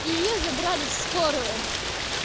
и её забрали в скорую